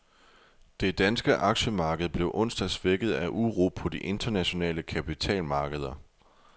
Det danske aktiemarked blev onsdag svækket af uro på de internationale kapitalmarkeder.